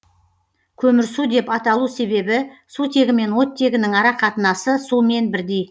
көмірсу деп аталу себебі сутегі мен оттегінің арақатынасы сумен бірдей